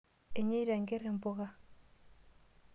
Enyeita enkerr impuka.